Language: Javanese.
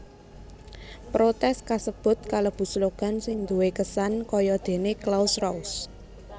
Protès kasebut kalebu slogan sing duwé kesan kayadéné Claus raus